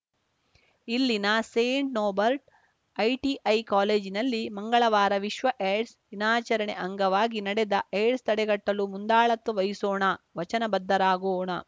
ಇಲ್ಲಿನ Saint Norbert ITI ಕಾಲೇಜಿನಲ್ಲಿ ಮಂಗಳವಾರ ವಿಶ್ವ ಏಡ್ಸ್‌ ದಿನಾಚರಣೆ ಅಂಗವಾಗಿ ನಡೆದ ಏಡ್ಸ್‌ ತಡೆಗಟ್ಟಲು ಮುಂದಾಳತ್ವ ವಹಿಸೋಣ ವಚನ ಬದ್ಧರಾಗೋಣ